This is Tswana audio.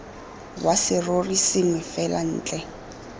wa serori sengwe fela ntle